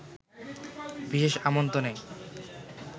বিশেষ আমন্ত্রণে